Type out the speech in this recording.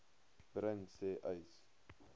bring sê uys